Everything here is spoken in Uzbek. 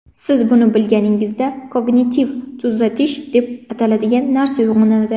Siz buni bilganingizda kognitiv uzatish deb ataladigan narsa uyg‘onadi.